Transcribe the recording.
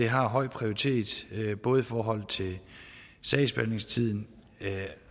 har høj prioritet både i forhold til sagsbehandlingstiden og